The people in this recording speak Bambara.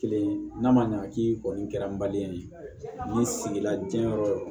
Kelen n'a ma ɲɛ k'i kɔni kɛra ye nin ye sigi la diɲɛ yɔrɔ